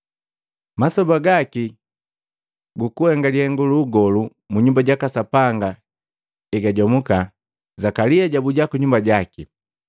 Masoba gaki gukuhenga lihengu lu ugolu mu Nyumba jaka Sapanga egajomuka, Zakalia jabuja kunyumba jaki.